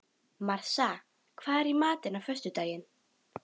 Marsa, hvað er í matinn á föstudaginn?